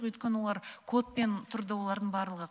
өйткені олар кодпен тұрды олардың барлығы